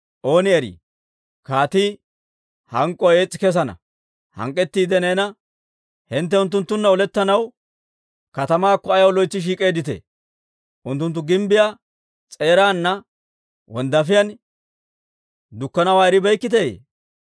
ooni erii, kaatii hank'k'uwaa ees's'i kessana; hank'k'ettiide neena, ‹Hintte unttunttunna olettanaw katamaakko ayaw loytsi shiik'eedditee? Unttunttu gimbbiyaa s'eeraana wonddaafiyaan dukkanawaa eribeykkiteyye?